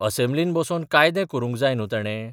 असेम्ब्लीत बसोन कायदे करूंक जाय न्हूं तेणें?